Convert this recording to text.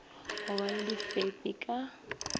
go ba le difepi ka